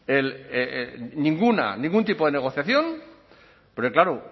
ninguna ningún tipo de negociación porque claro